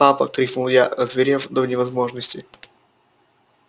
папа крикнул я озверев до невозможности